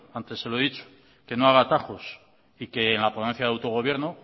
antes se lo he dicho que no haga atajos y que en la ponencia de autogobierno